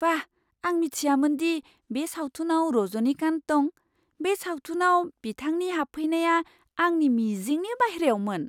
बाह! आं मिथियामोन दि बे सावथुनाव रजनीकान्त दं। बे सावथुनाव बिथांनि हाबफैनाया आंनि मिजिंनि बायह्रायावमोन!